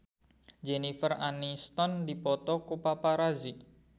Jennifer Aniston dipoto ku paparazi